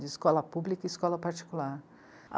De escola pública e escola particular.